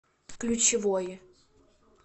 ключевой